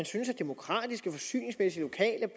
synes at demokratiske forsyningsmæssige lokale